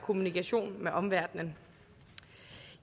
kommunikere med omverdenen